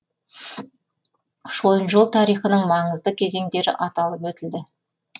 шойын жол тарихының маңызды кезеңдері аталып өтілді